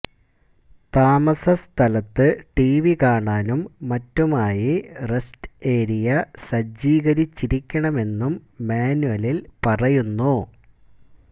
താമസ സ്ഥലത്ത് ടിവി കാണാനും മറ്റുമായി റസ്റ്റ് ഏരിയ സജ്ജീകരിച്ചിരിക്കണമെന്നും മാന്വലില് പറയുന്നു